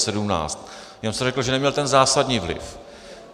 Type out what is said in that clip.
Jenom jsem řekl, že neměl ten zásadní vliv.